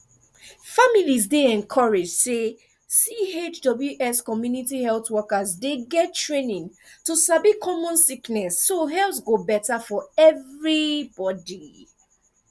families dey encouraged say chws community health workers dey get training to sabi common sickness so health go better for everybody